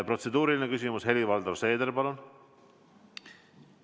Protseduuriline küsimus, Helir-Valdor Seeder, palun!